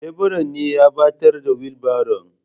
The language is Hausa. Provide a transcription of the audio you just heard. Leburan ne ya ɓatar da wilbaron.